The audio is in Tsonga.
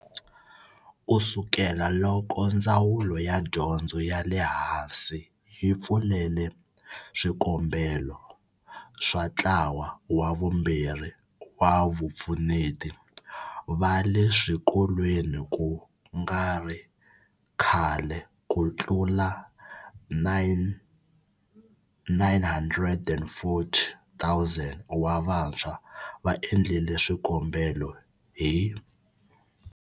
Ku sukela loko Ndzawulo ya Dyondzo ya le Hansi yi pfulele swikombelo swa ntlawa wa vumbirhi wa vapfuneti va le swikolweni ku nga ri khale, ku tlula 940 000 wa vantshwa va endlile swikombelo hi.